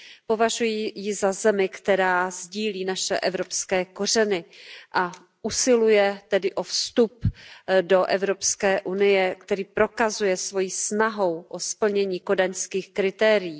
Považuji ji za zemi, která sdílí naše evropské kořeny a usiluje tedy o vstup do EU, což prokazuje svojí snahou o splnění kodaňských kritérií.